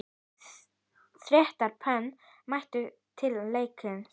Þrettán pör mættu til leiks.